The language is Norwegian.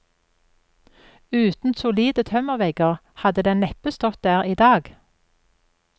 Uten solide tømmervegger hadde den neppe stått der i dag.